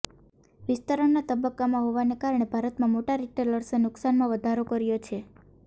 વિસ્તરણના તબક્કામાં હોવાના કારણે ભારતમાં મોટા રિટેલર્સે નુકસાનમાં વધારો કર્યો છે